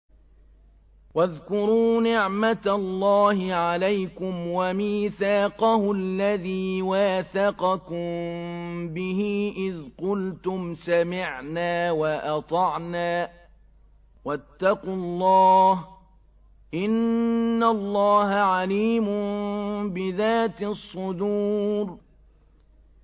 وَاذْكُرُوا نِعْمَةَ اللَّهِ عَلَيْكُمْ وَمِيثَاقَهُ الَّذِي وَاثَقَكُم بِهِ إِذْ قُلْتُمْ سَمِعْنَا وَأَطَعْنَا ۖ وَاتَّقُوا اللَّهَ ۚ إِنَّ اللَّهَ عَلِيمٌ بِذَاتِ الصُّدُورِ